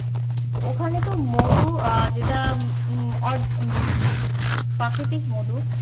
ওখানে তো মধু আহ যেটা প্রাকৃতিক মধু